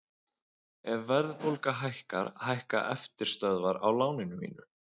Ef verðbólga hækkar hækka eftirstöðvar á láninu mínu.